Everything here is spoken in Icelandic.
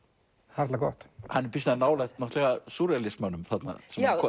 harla gott hann er býsna nálægt súrrealismanum þarna